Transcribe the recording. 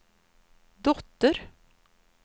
dotter